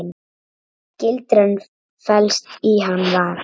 Gildran felst í Hann var.